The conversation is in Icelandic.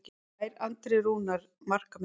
Slær Andri Rúnar markametið?